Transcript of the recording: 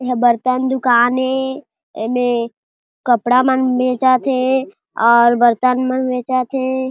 एहा बर्तन दुकान ए एमें कपड़ा मन बेचत हे और बर्तन मन बेचत हे।